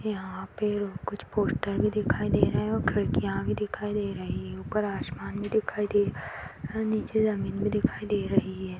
यहाँ पे अ कुछ पोस्टर भी दिखाई दे रहे हैं और खिड़कियां भी दिखाई दे रही हैं ऊपर आसमान भी दिखाई दे अ नीचे जमीन भी दिखाई दे रही है।